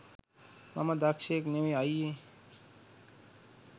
මම දක්ෂයෙක් නෙවෙයි අයියේ